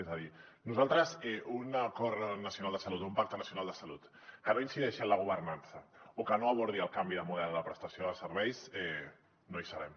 és a dir nosaltres en un acord nacional de salut o un pacte nacional de salut que no incideixi en la governança o que no abordi el canvi de model de prestació de serveis no hi serem